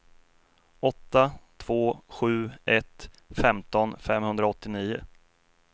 åtta två sju ett femton femhundraåttionio